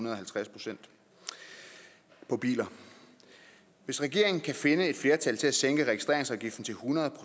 og halvtreds procent på biler hvis regeringen kan finde et flertal til at sænke registreringsafgiften til hundrede